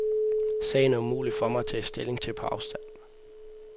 Sagen er umulig for mig at tage stilling til på afstand.